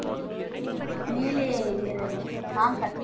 மேலே இருக்கிறது நான் cut